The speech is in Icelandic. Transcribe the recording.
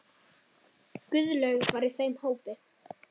Guðlaug var í þeim hópi.